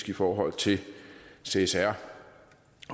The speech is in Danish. i forhold til csr